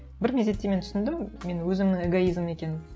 бір мезетте мен түсіндім мен өзімнің эгоизмім екенін